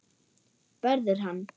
Verður hann.